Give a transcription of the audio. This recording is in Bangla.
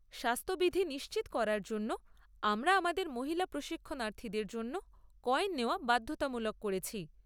স্বাস্থবিধি নিশ্চিত করার জন্য আমরা আমাদের মহিলা প্রশিক্ষণার্থীদের জন্য কয়েন নেওয়া বাধ্যতামূলক করেছি।